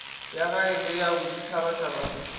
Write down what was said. ya gae le ya boditšhabatšhaba